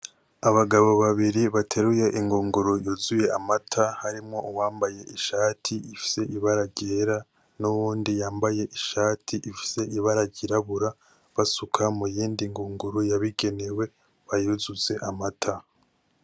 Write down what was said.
Abagabo babiri bateruye ingunguru yuzuye amata harimwo uwambaye ishati ifise amabara ryera n'uwundi yambaye ishati ifise ibara ryirabura basuka mu yindi ngunguru yabugenewe bayuzuze amata.